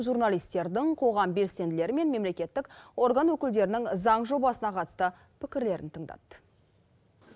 журналистердің қоғам белсенділері мен мемлекеттік орган өкілдерінің заң жобасына қатысты пікірлерін тыңдады